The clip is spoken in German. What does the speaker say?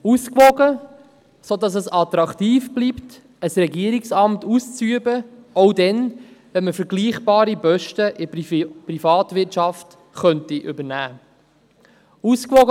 Ausgewogen, sodass es attraktiv bleibt, ein Regierungsamt auszuüben, auch dann, wenn man vergleichbare Posten in der Privatwirtschaft übernehmen könnte.